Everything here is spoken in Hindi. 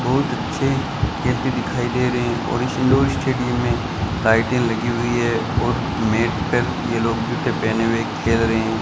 बहुत अच्छे गेंद दिखाई दे रहे हैं और इस लौ स्टेडियम में लाइटें लगी हुई है और नेट पे ये लोग जूते पहने हुए खेल रहे हैं।